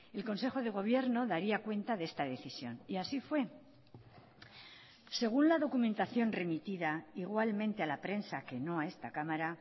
el consejo de gobierno daría cuenta de esta decisión y así fue según la documentación remitida igualmente a la prensa que no a esta cámara